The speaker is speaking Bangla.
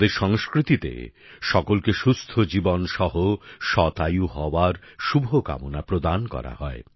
আমাদের সংস্কৃতিতে সকলকে সুস্থ জীবনসহ শতায়ু হওয়ার শুভকামনা প্রদান করা হয়